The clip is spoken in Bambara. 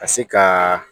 Ka se ka